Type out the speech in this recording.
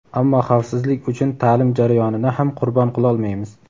ammo xavfsizlik uchun ta’lim jarayonini ham qurbon qilolmaymiz.